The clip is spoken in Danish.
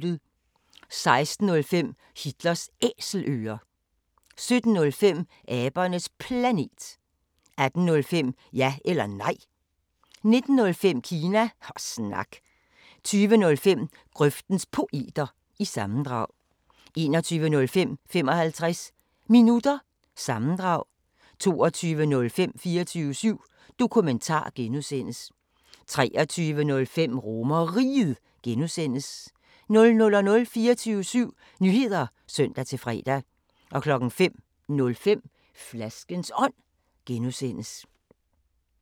16:05: Hitlers Æselører 17:05: Abernes Planet 18:05: Ja eller Nej 19:05: Kina Snak 20:05: Grøftens Poeter – sammendrag 21:05: 55 Minutter – sammendrag 22:05: 24syv Dokumentar (G) 23:05: RomerRiget (G) 00:00: 24syv Nyheder (søn-fre) 05:05: Flaskens Ånd (G)